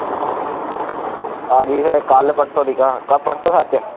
ਆਜੀ ਫੇਰ ਕੱਲ ਪਰਸੋਂ ਦੀ ਗਾਂਹ ਪ ਪਰਸੋਂ ਸੱਚ